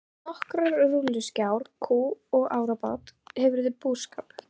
Með nokkrar rolluskjátur, kú og árabát hefurðu búskap.